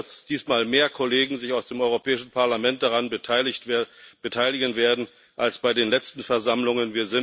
Ich hoffe, dass sich diesmal mehr Kollegen aus dem Europäischen Parlament daran beteiligen werden als bei den letzten Versammlungen.